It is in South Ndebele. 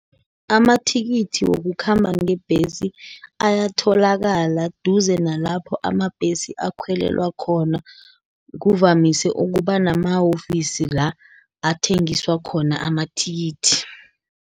Amathikithi wokukhamba ngebhesi, ayatholakala duze nalapho amabhesi akhwelelwa khona, kuvamise ukuba nama-ofisi la, athengiswa khona amathikithi.